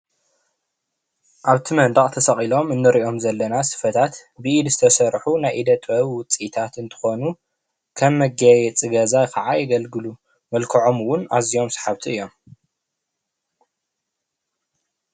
ኣብቲ መንደቅ ተሰቒሎም እንሪኦም ዘለና ስፈታት ብኢድ ዝተሰርሑ ናይ ኢደ ጥበብ ዉፅኢታት እንትኾኑ ከም መጋየፂ ገዛ ከዓ የገልግሉ ።መልከዖም እዉን ኣዝዮም ሰሓብቲ እዮም።